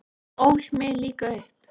Hún ól mig líka upp.